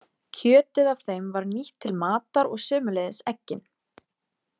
Kjötið af þeim var nýtt til matar og sömuleiðis eggin.